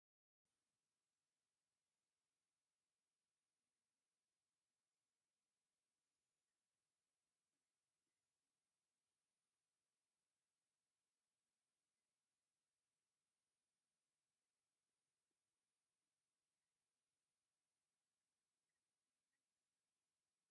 የገብርኤል ስጦታ ዝብል ፅሑፍ ዘለዋ ሚናባስ መኪና ኣላ፡፡ ዝኾነ ነገር ዝሓዘ መሸማዕ ኣብቲ ፅርጊያ ይርአ ኣሎ፡፡ ዝኾነ ነገር ብኸምዚ መልክዕ ኣብ ፅርጊያ እንትተቕምጥ ንሓደጋ እንዳቐረብካ ምዃንካ ልቢ ምባል ይግባእ፡፡